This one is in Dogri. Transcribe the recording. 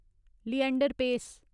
लिएंडर पेस